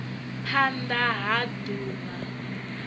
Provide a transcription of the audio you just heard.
phand a ha d uvha